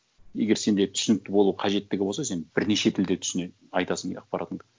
егер сенде түсінікті болу қажеттігі болса сен бірнеше тілде айтасың иә ақпаратыңды